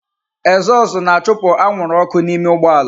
Ezozu na-achụpụ anwụrụ ọkụ n'ime ụgbọ ala.